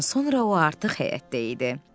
Bir an sonra o artıq həyətdə idi.